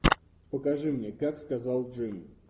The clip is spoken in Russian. покажи мне как сказал джим